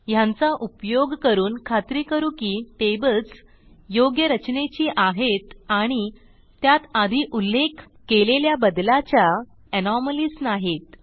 ह्यांचा उपयोग करून खात्री करू की टेबल्स a योग्य रचनेची आहेत आणि b त्यात आधी उल्लेख केलेल्या बदलाच्या एनोमॅलीज नाहीत